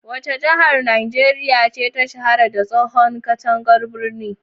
Wace jihar Najeriya ce ta shahara da tsohon katangar birni?